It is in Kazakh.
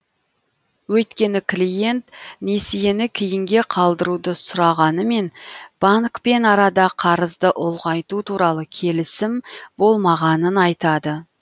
өйткені клиент несиені кейінге қалдыруды сұрағанымен банкпен арада қарызды ұлғайту туралы келісім болмағанын айтады